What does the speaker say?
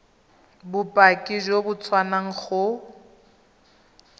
bopaki jo bo tswang go